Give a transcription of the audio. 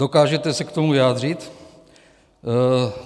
Dokážete se k tomu vyjádřit?